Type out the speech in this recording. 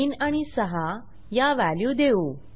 3 आणि 6 या व्हॅल्यू देऊ